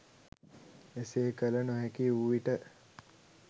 එසේ කළ නොහැකිවූ විට